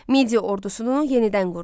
Midiya ordusunu yenidən qurdu.